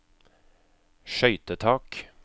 skøytetak